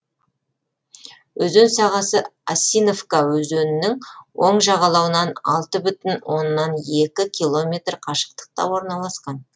өзен сағасы осиновка өзенінің оң жағалауынан алты бүтін оннан екі километр қашықтықта орналасқан